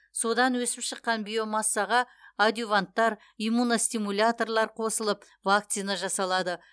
содан өсіп шыққан биомассаға адъюванттар иммуностимуляторлар қосылып вакцина жасалады